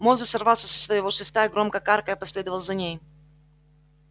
мозус сорвался со своего шеста и громко каркая последовал за ней